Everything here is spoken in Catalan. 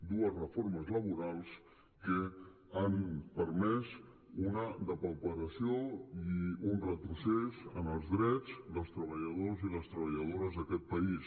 dues reformes laborals que han permès una depauperació i un retrocés en els drets dels treballadors i les treballadores d’aquest país